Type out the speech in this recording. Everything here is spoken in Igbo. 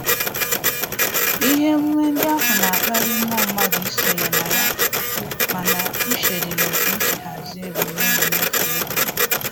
Ihe emume ndị ahụ na-akpali mmụọ mmadụ isonye na ya, mana uche dị n'otu m sirila hazie ebumnobi mmefu ego m